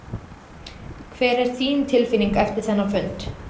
Hver er þín tilfinning eftir þennan fund?